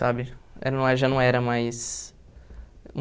sabe? Já não já não era mais